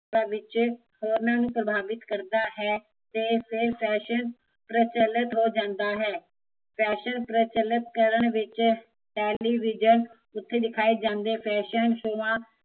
ਵਿੱਚ, ਹੋਰਨਾਂ ਨੂੰ ਪ੍ਰਭਾਵਿਤ ਕਰਦਾ ਹੈ, ਤੇ ਇਹ ਫੈਸ਼ਨਪ੍ਰਚਲਿਤ ਹੋ ਜਾਂਦਾ ਹੈ ਫੈਸ਼ਨ ਪ੍ਰਚਲਿਤ ਕਰਨ ਵਿੱਚ ਤੇਲੇਵਿਸ਼ਨ ਉੱਤੇ ਦਿਖਾਏ ਜਾਂਦੇ ਫੈਸ਼ਨ ਸ਼ੋਆ